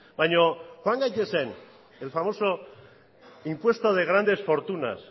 baina joan gaitezen el famoso impuesto de grandes fortunas